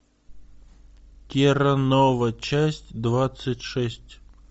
терра нова часть двадцать шесть